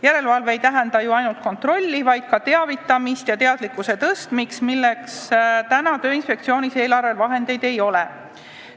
Järelevalve ei tähenda ju ainult kontrolli, vaid ka teavitamist ja teadlikkuse tõstmist, milleks täna Tööinspektsioonis eelarveraha ei ole.